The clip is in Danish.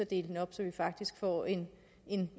dele det op så vi faktisk får en